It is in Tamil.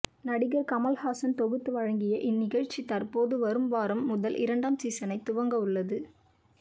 நடிகர் கமல்ஹாசன் தொகுத்து வழங்கிய இந்நிகழ்ச்சி தற்போது வரும் வாரம் முதல் இரண்டாம் சீசனை துவங்கவுள்ளது